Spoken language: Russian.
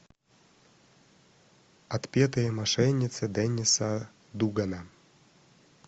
отпетые мошенницы денниса дугана